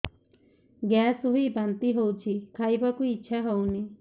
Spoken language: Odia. ଗ୍ୟାସ ହୋଇ ବାନ୍ତି ହଉଛି ଖାଇବାକୁ ଇଚ୍ଛା ହଉନି